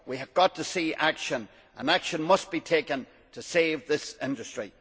We have got to see action, and action must be taken to save this industry.